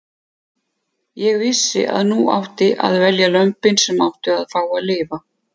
Ég vissi að nú átti að velja lömbin sem áttu að fá að lifa.